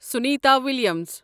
Sunita Williams